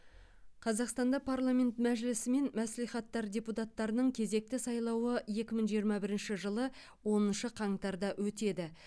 қазақстанда парламент мәжілісі мен мәслихаттар депутаттарының кезекті сайлауы екі мың жиырма бірінші жылы оныншы қаңтарда өтеді